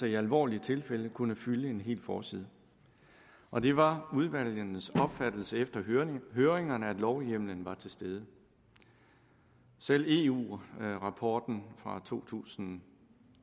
i alvorlige tilfælde kunne fylde en hel forside og det var udvalgenes opfattelse efter høringerne at lovhjemmelen var til stede selv eu rapporten fra to tusind